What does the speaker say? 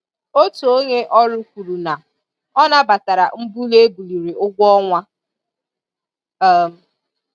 Otu onye ọrụ kwuru na ọ nabatara mbuli e buliri ụgwọ-ọnwa. um